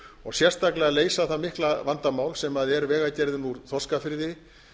og sérstaklega að leysa það mikla vandamál sem er vegagerðin úr þorskafirði